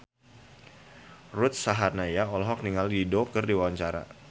Ruth Sahanaya olohok ningali Dido keur diwawancara